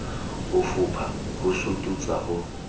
ho fopha ho sututsa ho